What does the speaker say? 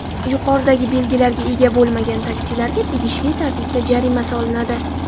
Yuqoridagi belgilarga ega bo‘lmagan taksilarga tegishli tartibda jarima solinadi.